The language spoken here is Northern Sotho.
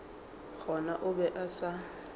gona o be a sa